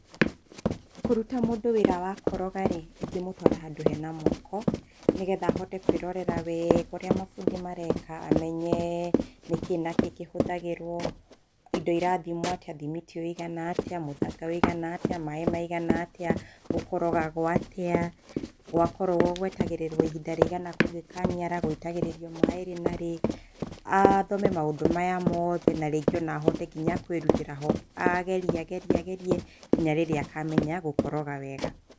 Kũruta mũndũ wĩra wa koroga rĩ, ingĩmũtwara handũ he na mwako, nĩ getha ahote kwĩrorera wega ũrĩa mabundi mareka, amenye nĩ kĩ na kĩ kĩhũthagĩrwo, indo irathimwo atĩa, thimiti ũigana atĩa, mũthanga ũigana atĩa, maĩ maigana atĩa, gũkorogagwo atĩa, gwakorogwo gũetagĩrĩrwo ihinda rĩigana gũgĩkanyara, gũitagĩrĩrio maĩ rĩ na rĩ, athome maũndũ maya mothe na rĩngĩ o na ahote nginya kwĩrutĩra ho. Agerie agerie agerie, nginya rĩrĩa akamenya gũkoroga wega.